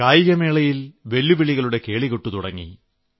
കായികമേളയിൽ വെല്ലുവിളികളുടെ കേളികൊട്ട് തുടങ്ങി